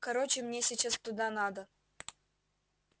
короче мне сейчас туда надо